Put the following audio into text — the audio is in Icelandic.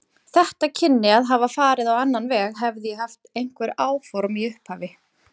Þetta kynni að hafa farið á annan veg, hefði ég haft einhver áform í upphafi.